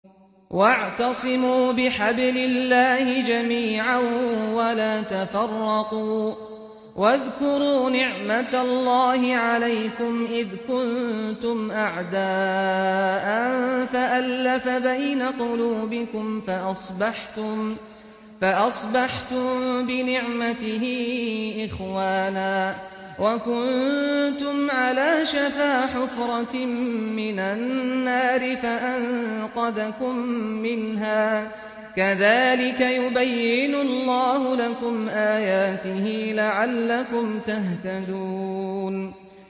وَاعْتَصِمُوا بِحَبْلِ اللَّهِ جَمِيعًا وَلَا تَفَرَّقُوا ۚ وَاذْكُرُوا نِعْمَتَ اللَّهِ عَلَيْكُمْ إِذْ كُنتُمْ أَعْدَاءً فَأَلَّفَ بَيْنَ قُلُوبِكُمْ فَأَصْبَحْتُم بِنِعْمَتِهِ إِخْوَانًا وَكُنتُمْ عَلَىٰ شَفَا حُفْرَةٍ مِّنَ النَّارِ فَأَنقَذَكُم مِّنْهَا ۗ كَذَٰلِكَ يُبَيِّنُ اللَّهُ لَكُمْ آيَاتِهِ لَعَلَّكُمْ تَهْتَدُونَ